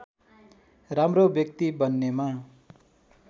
राम्रो व्यक्ति बन्नेमा